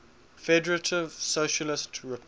federative socialist republic